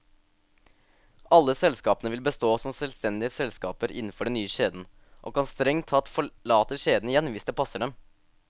Alle selskapene vil bestå som selvstendige selskaper innenfor den nye kjeden, og kan strengt tatt forlate kjeden igjen hvis det passer dem.